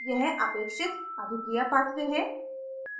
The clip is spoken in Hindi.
यह अपेक्षित अभिक्रिया pathway है